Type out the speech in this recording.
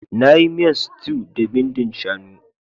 Na yi miyan stew da bindin shanu.